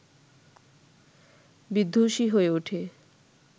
বিধ্বংসী হয়ে ওঠে